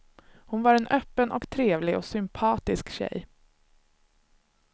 Hon var en öppen och trevlig och sympatisk tjej.